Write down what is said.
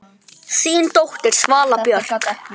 Þín dóttir, Svala Björk.